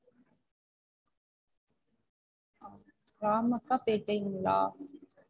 ராமக்காபேட்டைங்ளா?